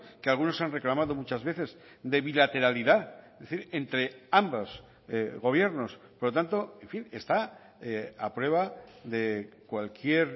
que algunos han reclamado muchas veces de bilateralidad es decir entre ambos gobiernos por lo tanto en fin está a prueba de cualquier